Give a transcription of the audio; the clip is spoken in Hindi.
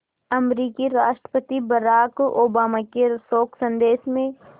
अमरीकी राष्ट्रपति बराक ओबामा के शोक संदेश में